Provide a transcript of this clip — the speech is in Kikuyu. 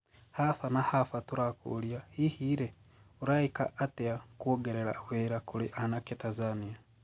Haba na haba turakũũria, hihi rii, Uraiika atia kûongerera wira kurĩ aanake Tanzania?